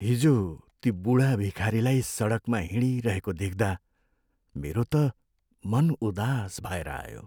हिजो ती बुढा भिखारीलाई सडकमा हिँडिरहेको देख्दा मेरो त मन उदास भएर आयो।